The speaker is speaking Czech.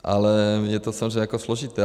Ale je to samozřejmě jako složité.